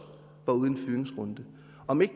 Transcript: var ude i en fyringsrunde om ikke